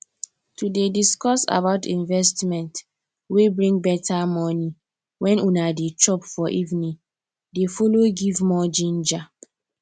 to dey disscuss about investment wey bring better money when una dey chop for evening dey follow give more ginger